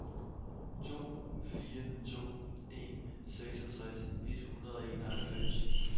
to fire to en seksogtres et hundrede og enoghalvfems